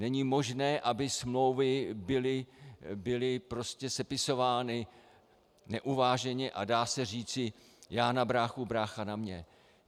Není možné, aby smlouvy byly sepisovány neuváženě a dá se říci "já na bráchu, brácha na mě".